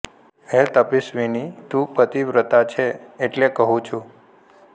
હે તપસ્વીનિ તું પતિવ્રતા છે એટલે કહું છું